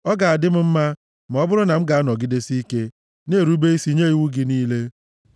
Ọ ga-adị m mma ma ọ bụrụ na m anọgidesie ike na-erube isi nye iwu gị niile!